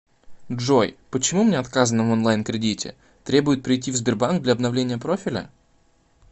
джой почему мне отказано в онлайн кредите требуют прийти в сбербанк для обновления профиля